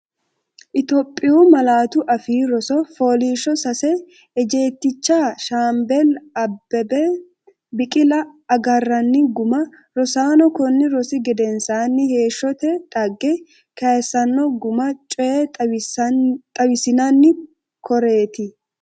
Itophiyu Malaatu Afii Roso FOOLIISHSHO SASE EJJEETICHA SHAAMBALLE ABBEBE BIQILA AGARRANNI GUMMA Rosaano, konni rosi gedensaanni: Heeshshote dhagge kayissanno guma coye xawissinanni, koreeti?